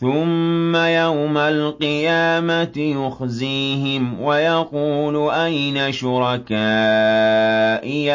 ثُمَّ يَوْمَ الْقِيَامَةِ يُخْزِيهِمْ وَيَقُولُ أَيْنَ شُرَكَائِيَ